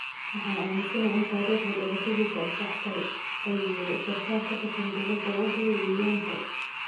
Waxaan aaminsanahay in taariikhda dhalashadiisa ay sax tahay," ayuu yiri sarkaal ka tirsan dowladda Wahyu Wiyanto.